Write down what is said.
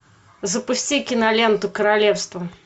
запусти киноленту королевство